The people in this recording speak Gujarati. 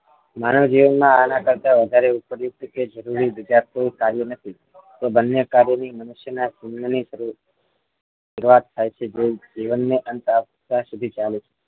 માનવ જીવનમાં આના કરતા વધારે ઉપયોગી કે જરૂરી બીજા કોઈ કાર્યો નથી બંને કાર્યોની મનુષ્યના જીવનની શરૂઆત જે જીવનની અંત આવતા સુધી ચાલે છે